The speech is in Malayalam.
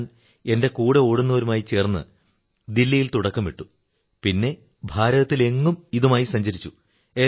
ഞാൻ എന്റെ കൂടെ ഓടുന്നവരുമായി ചേർന്ന് ദില്ലിയിൽ തുടക്കമിട്ടു പിന്നെ ഭാരതത്തിലെങ്ങും ഇതുമായി സഞ്ചരിച്ചു